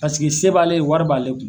Pasiki se b'ale ye wari b'ale kun.